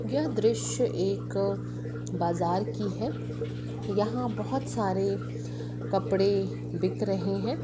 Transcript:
यह दृश एक बाजार की है यहा बहुत सारे कपड़े बिक रहे है।